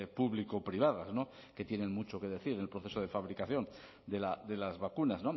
público privadas que tienen mucho que decir en el proceso de fabricación de las vacunas